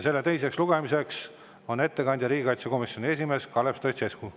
selle teise lugemise ettekandja on riigikaitsekomisjoni esimees Kalev Stoicescu.